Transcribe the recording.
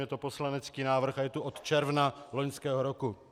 Je to poslanecký návrh a je tu od června loňského roku.